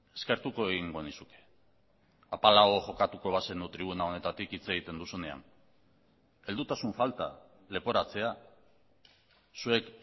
eskertuko egingo nizuke apalago jokatuko bazenu tribuna honetatik hitz egiten duzunean heldutasun falta leporatzea zuek